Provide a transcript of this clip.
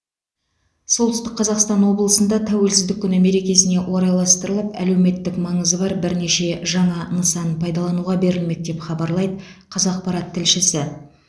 солтүстік қазақстан облысында тәуелсіздік күні мерекесіне орайластырылып әлеуметтік маңызы бар бірнеше жаңа нысан пайдалануға берілмек деп хабарлайды қазақпарат тілшісі